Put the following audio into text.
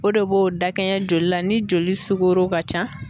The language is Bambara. O de b'o dakɛɲɛ joli la ni joli sugoro ka ca